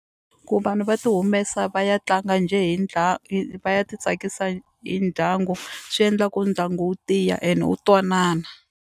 Ku vanhu va ti humesa va ya tlanga njhe hi hi va ya titsakisa hi ndyangu swi endla ku ndyangu wu tiya ene wu twanana.